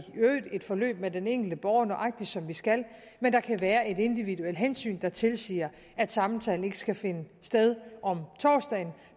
øvrigt et forløb med den enkelte borger nøjagtig som vi skal men der kan være et individuelt hensyn der tilsiger at samtalen ikke skal finde sted om torsdagen